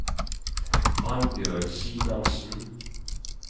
Annbjørg Simensen